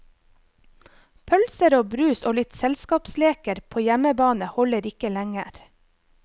Pølser og brus og litt selskapsleker på hjemmebane holder ikke lenger.